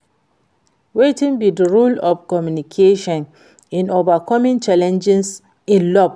Wetin be di role of communication in overcoming challenges in love?